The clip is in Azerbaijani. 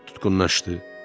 Tutqunlaşdı.